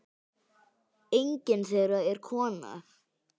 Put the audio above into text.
Enginn þeirra er kona.